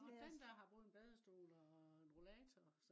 nej den der har både en badestol og en rollater